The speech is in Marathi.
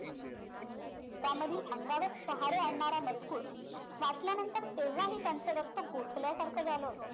त्यामधील अंगावर शहारे आणणारा मजकूर वाचल्यानंतर तेव्हा हि त्यांचं रक्त गोठल्या सारखं झालं होतं